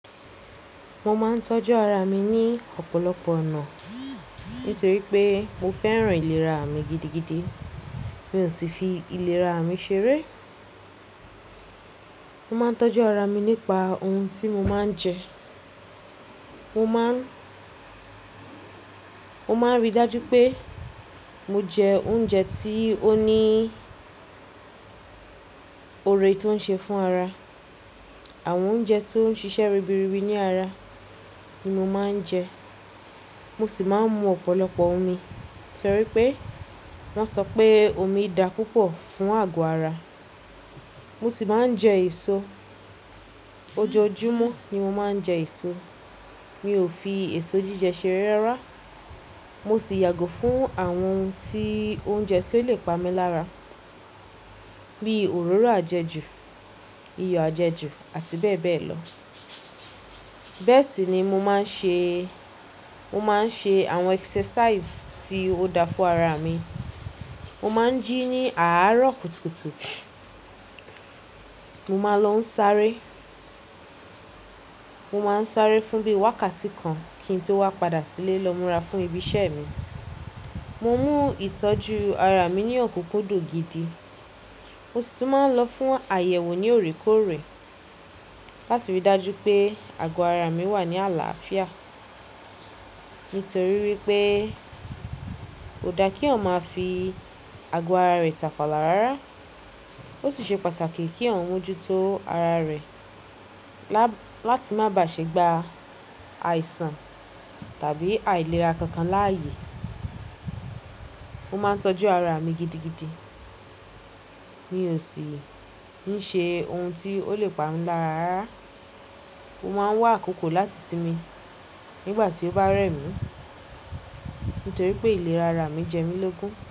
Mo máa ń tọ́jú ara mi ní ọ̀pọ̀lọpọ̀ ọ̀nà, nítorí pé mo fẹ́ràn ìlera mi gidigidi. Mi ò sì fi ìlera mi ṣeré. Mo máa ń tọ́jú ara mi nípa ohun tí mo máa ń jẹ. Mo máa ń, mo máa ń ríi dájú pé mo jẹ oúnjẹ tí ó ní oore tí ó ń ṣe fún ara. Àwọn oúnjẹ tó ń ṣiṣẹ́ ribiribi ní ara ni mo máa ń jẹ. Mo sì máa ń mu ọ̀pọ̀lọpọ̀ omi, torí pé wọ́n sọ pé omi da púpọ̀ fún àgọ́ ara. Mo sì máa ń jẹ èso. Ojoojúmọ́ ni mo máa ń jẹ èso. Mi ò fi èso jíjẹ ṣere rárá. Mo sì yàgò fún àwọn ohun tí, oúnjẹ tí ó lè pa mí lára, bí i òróró àjẹjù, iyọ̀ àjẹjù àti bẹ́ẹ̀ bẹ́ẹ̀ lọ. Bẹ́ẹ̀ sì ni mo máa ń ṣe, mo máa ń ṣe àwọn exercise tí ó da fún ara mi. Mo máa ń jí ní àárọ̀ kùtùkùtù. Mo máa ń lọ sáré. Mo máa ń sáré fún bí wákàtí kan kí n tó wá padà sílé lọ múra fún ibi iṣẹ́ mi. Mo mú ìtọ́jú ara mi ní òkunkun dun gídí. Mo sì tún máa ń lọ fún àyẹ̀wò ní òrékòrè láti ríi dájú pé àgọ́ ara mi wà ní àlàáfíà. Nítorí wípé kò da kí eyan ma fi àgọ́ ara rẹ̀ tàfàlà rárá. Ó sì ṣe pàtàkì kí eyan mójú tó ara rẹ̀, láti má bà ṣe gba àìsàn tàbí àìlera kankan láàyè. Mo máa ń tọ́jú ara mi gidigidi. Mi ò sì ń ṣe ohun tí ó lè pa mí lára rárá. Mo máa ń wá àkókò láti sinmi nígbà tí ó bá rẹ̀ mí, nítorí pé ìlera ara mi jẹ́ mí lógun.